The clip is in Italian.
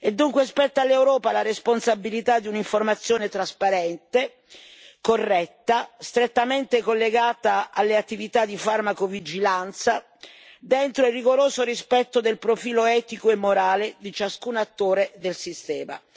dunque all'Europa la responsabilità di un'informazione trasparente, corretta, strettamente collegata alle attività di farmacovigilanza, dentro il rigoroso rispetto del profilo etico e morale di ciascun attore del sistema.